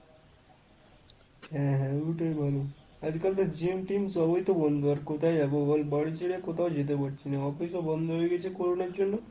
হ্যাঁ হ্যাঁ ওটাই ভালো। আজকাল তো gym টিম সবই তো বন্ধ আর কোথায় যাবো বল বাড়ি ছেড়ে কোথাও যেতে পারছি না অফিসেও বন্ধ হয়ে গেছে corona র জন্য।